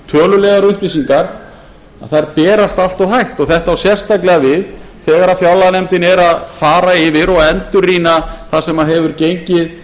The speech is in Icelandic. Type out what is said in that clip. tölulegar upplýsingar berast allt of hægt og þetta á sérstaklega við þegar fjárlaganefndin er að fara yfir og endurrýna það sem hefur gengið